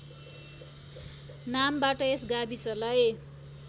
नामबाट यस गाविसलाई